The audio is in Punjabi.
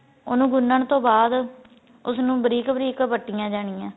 ਉਨੂੰ ਗੁਨਣ ਤੋਂ ਬਾਅਦ ਉਸ ਨੂੰ ਬਰੀਕ ਬਰੀਕ ਵੱਟੀਆਂ ਜਾਣੀਆਂ